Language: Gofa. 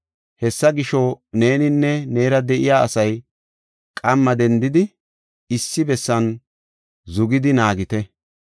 Hessa gisho, neeninne neera de7iya asay qamma dendidi issi bessan zugidi naagite.